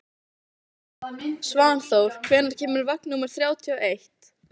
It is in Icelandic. Svanþór, hvenær kemur vagn númer þrjátíu og eitt?